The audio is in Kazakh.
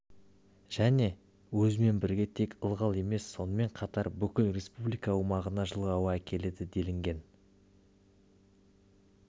және өзімен бірге тек ылғал емес сонымен қатар бүкіл республика аумағына жылы ауа әкеледі делінген